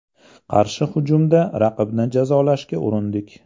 Qarshi hujumda raqibni jazolashga urindik.